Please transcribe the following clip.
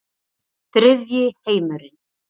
Þriðji heimurinn